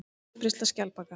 Útbreiðsla skjaldbaka.